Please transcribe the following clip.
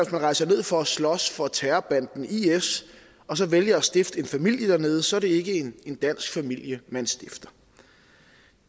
man rejser ned for at slås for terrorbanden is og så vælger at stifte en familie dernede så er det ikke en dansk familie man stifter